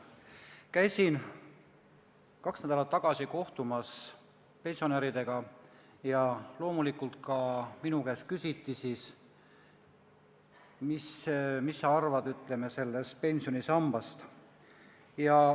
Käisin kaks nädalat tagasi pensionäridega kohtumas ja loomulikult ka minu käest küsit, mida ma arvan sellest pensionisambast.